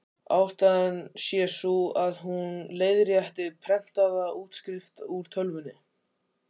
Ástæðan sé sú, að hún leiðrétti prentaða útskrift úr tölvunni.